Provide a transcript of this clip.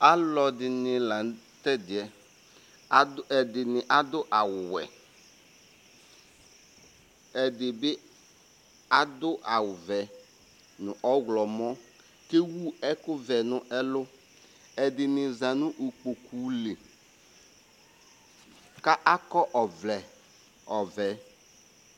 aloɛdini lantɛdiɛ ado ɛdini ado awu wɛ ɛdi bi ado awu vɛ no ɔwlɔmɔ k'ewu ɛkò vɛ no ɛlu ɛdini za no ikpoku li k'akɔ ɔvlɛ ɔvɛ